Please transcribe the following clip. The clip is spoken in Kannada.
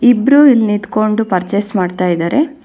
ಇಬ್ರು ಇಲ್ಲಿ ನಿಂತ್ಕೊಂಡು ಪರ್ಚೇಸ್ ಮಾಡ್ತಾ ಇದಾರೆ.